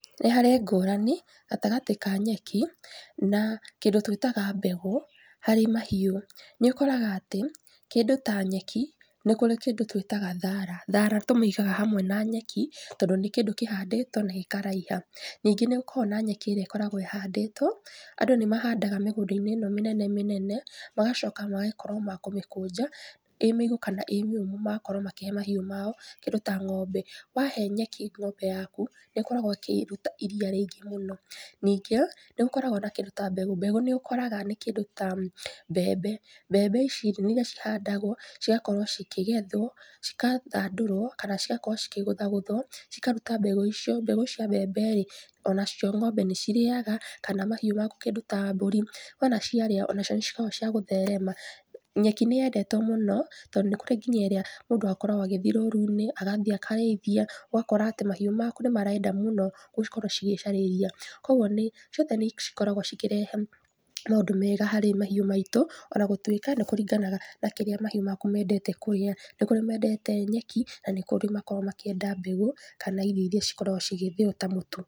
Nĩ harĩ ngũrani, gatagatĩ ka nyeki, na, kĩndũ twĩtaga mbegũ, harĩ mahiũ, nĩũkoraga atĩ, kĩndũ ta nyeki, nĩkũrĩ kĩndũ twĩtaga thara, thara tũmĩigaga hamwe na nyeki tondũ nĩ kĩndũ kĩhandĩtwo, na gĩkaraiha, ningĩ nĩgũkoragwo na nyeki ĩrĩa ĩkoragwo ĩhandĩtwo, andũ nĩmahandaga mĩgũnda-inĩ ĩno mĩnene mĩnene, magacoka magakorwo makĩmĩkũnja, ĩ mĩigũ kana ĩ mĩũmũ, magakorwo makũhe mahiũ mao, kĩndũ ta ng'ombe. Wahe nyeki ng'ombe yaku, nĩkoragwo ĩkĩruta iria rĩingĩ mũno, ningĩ, nĩgũkoragwo na kĩndũ ta mbegũ, mbegũ nĩ kĩndũ ta mbembe, mbembe ici nĩiria cihandagwo, ciigakorwo cikĩgethwo, cikathandũrwo kana cigakorwo cikĩgũthagũthwo, cikaruta mbegũ icio, mbegũ cia mbembe rĩ, onacio ng'ombe nĩcirĩaga, kana mahiũ maku kĩndũ ta mbũri, wona ciarĩa, ona cio nĩcikoragwo ciagũtherema, nyeki nĩyendetwo mũno tondũ nĩkũrĩ nginya ĩrĩa mũndũ akoragwo agĩthiĩ rũru-inĩ, agathiĩ akarĩithia, ũgakora atĩ mahiũ maku nĩmarenda mũno gũkorwo cigĩcarĩria, kwoguo nĩ, ciothe nĩcikoragwo cikĩrehe, maũndũ mega harĩ mahiũ maitũ, ona gũtwĩka nĩkũringanaga na kĩrĩa mahiũ maku mendete kũrĩa, nĩkũrĩ mendete nyeki, na nĩkũrĩ makoragwo makĩenda mbegũ, kana irio iria cikoragwo cigĩthĩo ta mũtu.